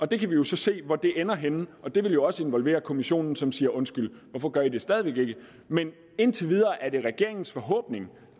det kan vi jo så se hvor ender henne det vil jo også involvere kommissionen som vil sige undskyld hvorfor gør i det stadig væk ikke men indtil videre er det regeringens forhåbning